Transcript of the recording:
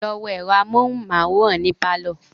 Lọ wo ẹ̀rọ amóhunmáwòrán ní pálọ̀